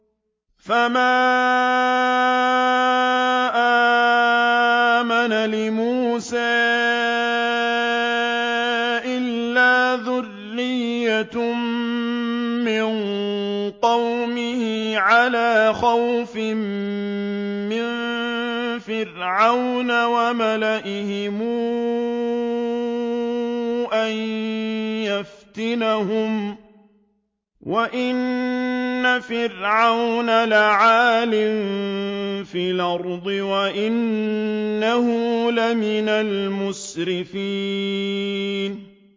فَمَا آمَنَ لِمُوسَىٰ إِلَّا ذُرِّيَّةٌ مِّن قَوْمِهِ عَلَىٰ خَوْفٍ مِّن فِرْعَوْنَ وَمَلَئِهِمْ أَن يَفْتِنَهُمْ ۚ وَإِنَّ فِرْعَوْنَ لَعَالٍ فِي الْأَرْضِ وَإِنَّهُ لَمِنَ الْمُسْرِفِينَ